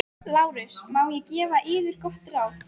LÁRUS: Má ég gefa yður gott ráð?